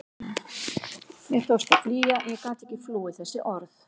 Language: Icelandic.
Mér tókst að flýja en ég gat ekki flúið þessi orð.